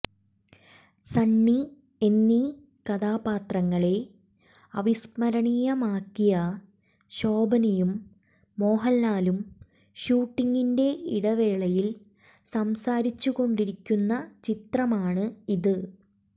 സണ്ണി എന്നീ കഥാപാത്രങ്ങളെ അവിസ്മരണീയമാക്കിയ ശോഭനയും മോഹൻലാലും ഷൂട്ടിംഗിന്റെ ഇടവേളയിൽ സംസാരിച്ചുകൊണ്ടിരിക്കുന്ന ചിത്രമാണ് ഇത്